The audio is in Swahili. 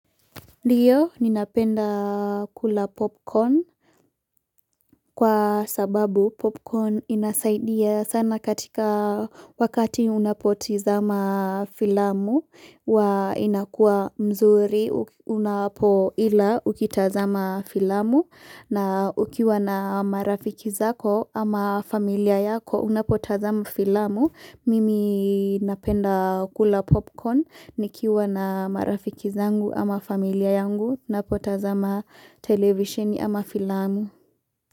Ndio ninapenda kula popcorn kwa sababu popcorn inasaidia sana katika wakati unapoti zama filamu wa inakua mzuri unapo ila ukitazama filamu na ukiwa na marafiki zako ama familia yako unapotazama filamu. Mimi napenda kula popcorn nikiwa na marafiki zangu ama familia yangu napota zama televisioni ama filamu.